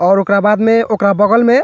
और ओकरा बाद में ओकरा बगल में --